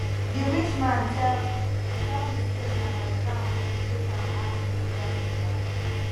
the rich man tell tell me say na my gown make am ask me to dance with am